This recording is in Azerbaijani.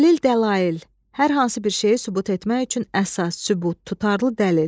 Dəlil, dəlail, hər hansı bir şeyi sübut etmək üçün əsas, sübut, tutarlı dəlil.